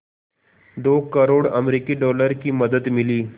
दो करोड़ अमरिकी डॉलर की मदद मिली